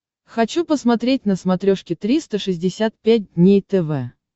хочу посмотреть на смотрешке триста шестьдесят пять дней тв